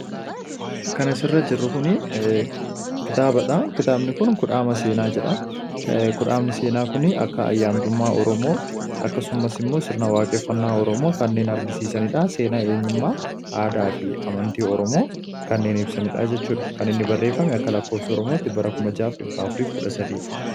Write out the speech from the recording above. Kan asirra jiru kun kitaabadha. Kitaabni kun 'kudhaama seenaa' jedha. Kudhaamni seenaa kun olaantummaa oromoo akkasumas immoo sirna waaqeffannaa oromoo kanneen argisiisanidha. Seenaa, aadaa fi amantii oromoo kan ibsanidha jechuudha. kan inni barreeffame akka bara oromootti bara 6413dha.